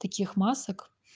таких масок